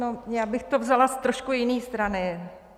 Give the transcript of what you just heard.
No já bych to vzala z trošku jiné strany.